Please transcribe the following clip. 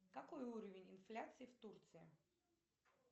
какой уровень инфляции в турции